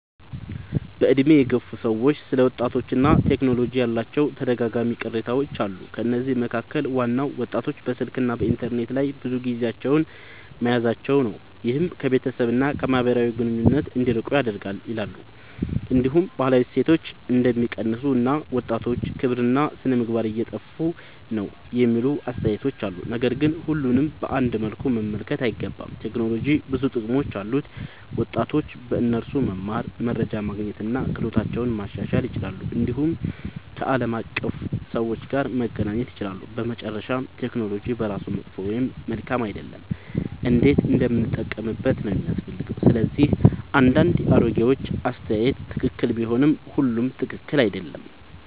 በዕድሜ የገፉ ሰዎች ስለ ወጣቶችና ቴክኖሎጂ ያላቸው ተደጋጋሚ ቅሬታዎች አሉ። ከነዚህ መካከል ዋናው ወጣቶች በስልክና በኢንተርኔት ላይ ብዙ ጊዜ መያዛቸው ነው፤ ይህም ከቤተሰብ እና ከማህበራዊ ግንኙነት እንዲርቁ ያደርጋል ይላሉ። እንዲሁም ባህላዊ እሴቶች እንደሚቀንሱ እና ወጣቶች ክብርና ሥነ-ምግባር እየጠፋ ነው የሚሉ አስተያየቶች አሉ። ነገር ግን ሁሉንም በአንድ መልኩ መመልከት አይገባም። ቴክኖሎጂ ብዙ ጥቅሞች አሉት፤ ወጣቶች በእርሱ መማር፣ መረጃ ማግኘት እና ክህሎታቸውን ማሻሻል ይችላሉ። እንዲሁም ከዓለም አቀፍ ሰዎች ጋር መገናኘት ይችላሉ። በመጨረሻ ቴክኖሎጂ በራሱ መጥፎ ወይም መልካም አይደለም፤ እንዴት እንደምንጠቀምበት ነው የሚያስፈልገው። ስለዚህ አንዳንድ የአሮጌዎች አስተያየት ትክክል ቢሆንም ሁሉም ትክክል አይደለም።